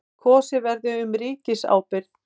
Kosið verði um ríkisábyrgð